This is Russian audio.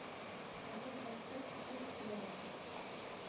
продать двадцать пять китайских юаней